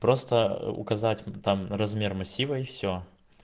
просто указать там размер массива и все